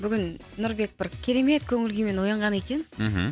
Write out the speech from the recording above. бүгін нұрбек бір керемет көңіл күймен оянған екен мхм